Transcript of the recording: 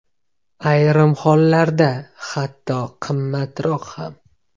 Ayrim hollarda, hatto qimmatroq ham.